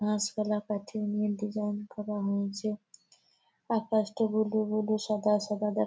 Join করা হয়েছে। আকাশটা ব্লু ব্লু সাদা সাদা--